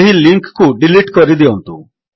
ଏହି ଲିଙ୍କ୍ କୁ ଡିଲିଟ୍ କରିଦିଅନ୍ତୁ